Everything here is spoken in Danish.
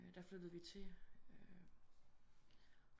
Der flyttede vi til